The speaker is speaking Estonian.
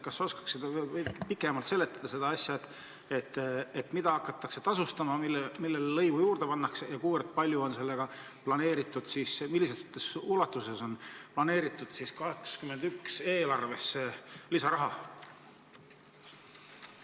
Kas sa oskaksid veidi pikemalt seletada, mida hakatakse tasustama, millele lõivu juurde pannakse ja kui palju on sellega planeeritud 2021. aasta eelarvesse lisaraha saada?